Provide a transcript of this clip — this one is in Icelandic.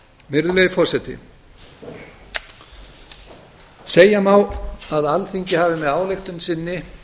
virðulegi forseti segja má að alþingi hafi með ályktun sinni